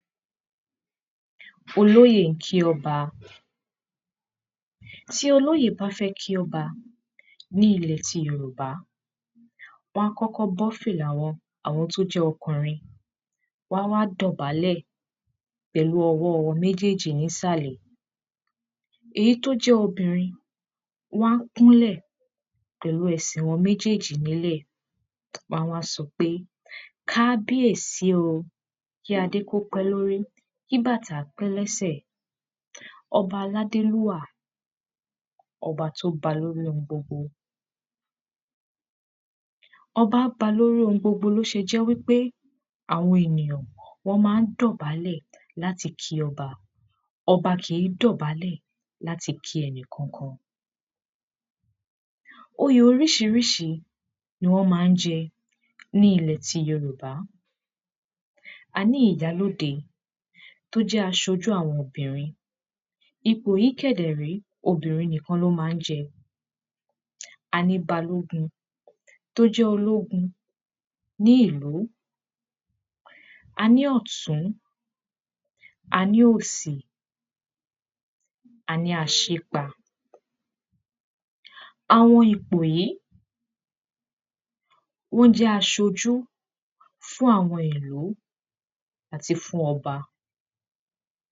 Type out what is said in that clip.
olóyè ń kí ọba tí olòyè bá fẹ́ kí ọba ní ilẹ̀ ti Yorùbá wọ́n á kọ́kọ́ bọ́ fìlà àwọn tó jẹ́ ọkùnrin wọ́n a wá dọ̀bálẹ̀ pẹ̀lú ọwọ́ wọn méjèèjì ní ìsàlẹ̀ èyí tó jẹ́ obìnrin wọ́n á kúnlẹ̀ pẹ̀lú ẹsẹ̀ wọn méjèèjì nílẹ̀ wọ́n á wá sọ pé kábíyèsí oo kí adé kó pẹ́ lórí kí bàtà pẹ́ lẹ́sẹ̀ ọba aládélúwà ọba tó ba lórí ohun gbogbo ọba ba lórí ohun gbogbo ló ṣe jẹ́ wípé àwọn ènìyàn wọ́n máa ń dọ̀bálẹ̀ láti kí ọba ọba kìí dọ̀bálẹ̀ láti kí ẹnì kankan oyè oríṣiríṣi ní wọ́n máa ń jẹ ní ilẹ̀ ti Yorùbá a ní ìyálóde tó jẹ́ aṣojú àwọn obìnrin ipò yìí kẹ̀dẹ̀ rèé obìnrin nìkan ló máa ń jẹ a ní balógun tó jẹ́ ológun ní ìlú a ní ọ̀tún a ní òsì a ní aṣípa àwọn ipò yìí wọ́n jẹ́ aṣojú fún àwọn ìlú àti fún ọba